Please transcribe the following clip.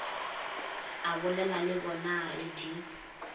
abolela le bonaa re di